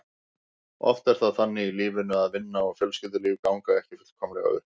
Oft er það þannig í lífinu að vinna og fjölskyldulíf ganga ekki fullkomlega upp.